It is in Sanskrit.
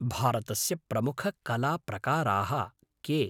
भारतस्य प्रमुखकलाप्रकाराः के?